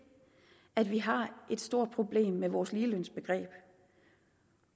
at vi har et stort problem med vores ligelønsbegreb